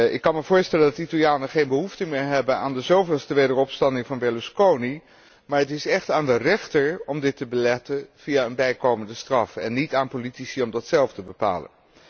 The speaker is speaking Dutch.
Ik kan mij voorstellen dat de Italianen geen behoefte meer hebben aan de zoveelste wederopstanding van Berlusconi, maar het is echt aan de rechter om dit te beletten via een bijkomende straf en níet aan politici om dat zelf te bepalen.